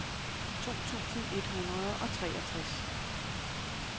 to tusind et hundrede og treogtres